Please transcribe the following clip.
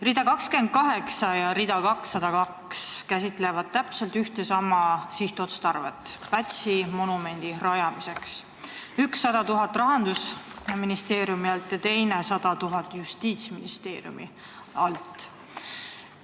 Rida 28 ja rida 202 käsitlevad täpselt ühtesama sihtotstarvet: Pätsi monumendi rajamiseks tuleb üks 100 000 Rahandusministeeriumi alt ja teine 100 000 Justiitsministeeriumi alt.